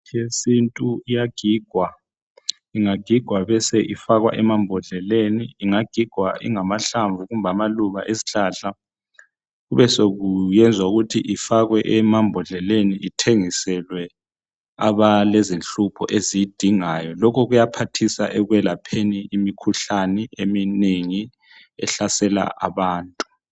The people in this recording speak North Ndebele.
Imithi yesintu iyagigwa ingagigwa ibe isifakwa emambodleleni ingagigwa ingamahlamvu kumbe amaluba awezihlahla kube sokuyenzwa ukuthi ifakwe embodleleni ithengiselwe abalemkhuhlane lokhu kuyangceda ukuze abantu bezivikele kumkhuhlane ehlupha abantu